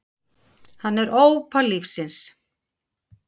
Hann er ópal lífsins.